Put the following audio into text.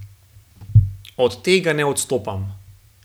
Od tega ne odstopam.